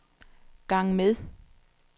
gang med